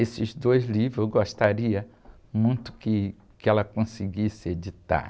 Esses dois livros eu gostaria muito que, que ela conseguisse editar.